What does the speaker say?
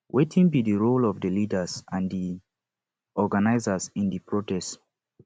wetin be di role of di leaders and di organizers in di protest